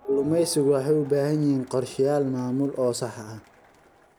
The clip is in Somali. Kalluumaysigu waxay u baahan yihiin qorshayaal maamul oo sax ah.